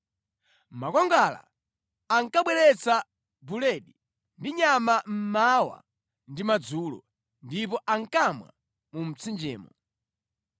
Makwangwala ankabweretsera buledi ndi nyama mmawa ndi madzulo, ndipo ankamwa mu mtsinjemo.